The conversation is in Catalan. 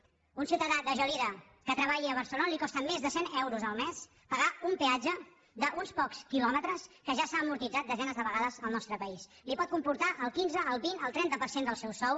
a un ciutadà de gelida que treballi a barcelona li costa més de cent euros el mes pagar un peatge d’uns pocs kilòmetres que ja s’ha amortitzat desenes de vegades al nostre país li pot comportar el quinze el vint el trenta per cent del seu sou